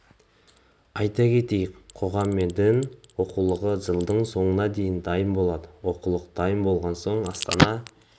айта кетейік қоғам мен дін оқулығы жылдың соңына дейін дайын болады оқулық дайын болған соң астана